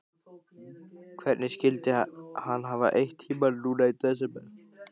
Hvernig skyldi hann hafa eytt tímanum núna í desember?